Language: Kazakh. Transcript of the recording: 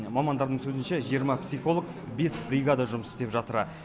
мамандардың сөзінше жиырма психолог бес бригада жұмыс істеп жатыр